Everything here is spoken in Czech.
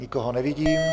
Nikoho nevidím.